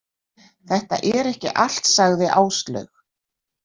Þetta er ekki allt, sagði Áslaug.